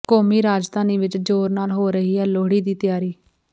ਕੌਮੀ ਰਾਜਧਾਨੀ ਵਿੱਚ ਜ਼ੋਰ ਨਾਲ ਹੋ ਰਹੀ ਹੈ ਲੋਹੜੀ ਦੀ ਤਿਆਰੀ